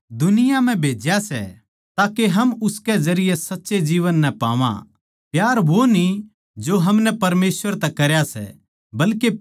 हे प्यारे बिश्वासी भाईयो जिब परमेसवर नै म्हारै ताहीं इसा प्यार करया तो हमनै भी आप्पस म्ह प्यार करणा चाहिए